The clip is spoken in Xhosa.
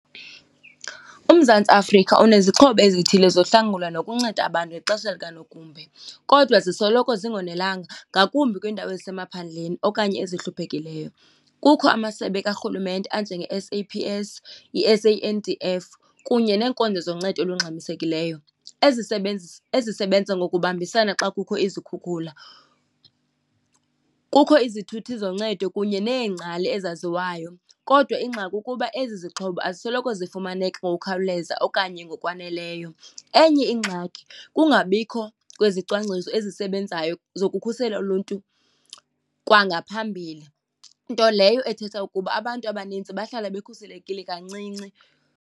UMzantsi Afrika unezixhobo ezithile zohlangula nokunceda abantu ngexesha likanogumbe, kodwa zisoloko zingonelanga, ngakumbi kwiindawo ezisemaphandleni okanye ezihluphekileyo. Kukho amasebe karhulumente anjenge-S_A_P_S, i-S_A_N_D_F kunye neenkonzo zoncedo olungxamisekileyo, ezisebenza ngokubambisana xa kukho izikhukhula. Kukho izithuthi zoncedo kunye neengcali ezaziwayo kodwa ingxaki kukuba ezi zixhobo azisoloko zifumaneka ngokukhawuleza okanye ngokwaneleyo. Enye ingxaki kungabikho kwezicwangciso ezisebenzayo zokukhusela uluntu kwangaphambili, nto leyo ethetha ukuba abantu abanintsi bahlala bekhuselekile kancinci.